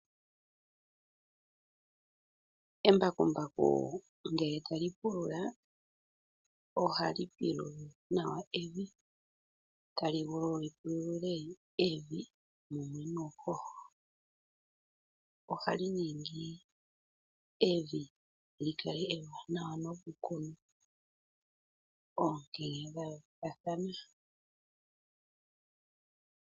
Embakumbaku ngele tali pulula, ohali pulula nawa evi, tali galulile evi mumwe nuuhoho. Ohali ningi evi lyi kale ewaanawa noku kuna oonkenya dha yoolokathana.